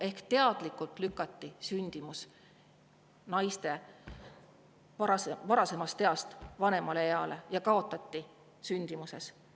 Ehk teadlikult lükati naiste nooremast east vanemale eale – ja kaotati sündimuses.